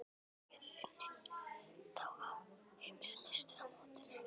Getum við unnið þá á Heimsmeistaramótinu?